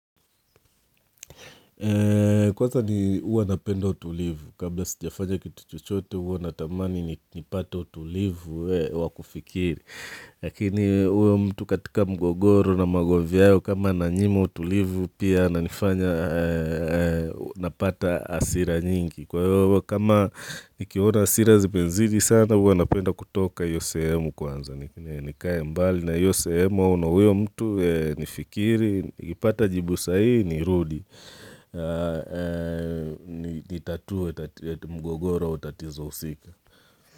Kwaza ni napenda utulivu, kabla sijafanya kitu chochote uanatamani nipate utulivu wa kufikiri Lakini uyo mtu katika mgogoro na magovyao kama nanyima utulivu pia nanifanya napata hasira nyingi Kwa iyo kama nikiona hasira zimezidi sana hua napenda kutoka iyo sehemu kwanza nikae mbali na iyo sehemu au na uyo mtu nifikiri, nikipata jibu sahii nirudi Nitatue mgogoro au tatizo usika.